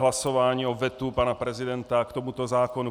Hlasování o vetu pana prezidenta k tomuto zákonu.